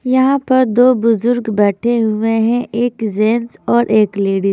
यहां पर दो बुजुर्ग बैठे हुए हैं एक जेंट्स और एक लेडिज